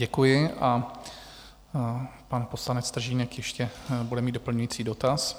Děkuji a pan poslanec Stržínek ještě bude mít doplňující dotaz.